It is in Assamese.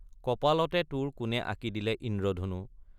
কপালতে তোৰ কোনে আঁকি দিলে ইন্দ্ৰধনু?